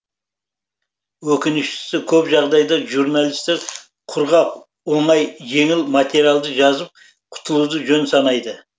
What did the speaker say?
өкініштісі көп жағдайда журналистер құрғақ оңай жеңіл материалды жазып құтылуды жөн санайды